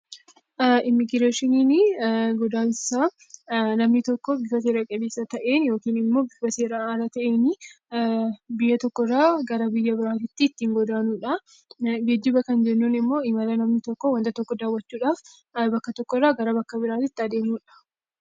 Immigireeshiniin kan namni tokko bifa seera qabeessa ta'een yookiin immoo bifa seeraan ala ta'een biyya tokko irraa gara biyya biraatti ittiin godaanudha. Geejiba kan jennuun immoo imala namni tokko waanta tokko daawwachuudhaaf bakka tokko irraa gara bakka biraatti adeemudha.